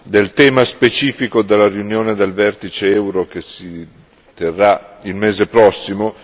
del tema specifico della riunione del vertice euro che si terrà il mese prossimo.